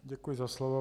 Děkuji za slovo.